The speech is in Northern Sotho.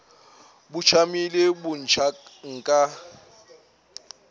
bo tšamile bo ntšha nka